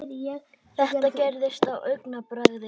Þetta gerðist á augabragði.